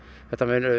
þetta mun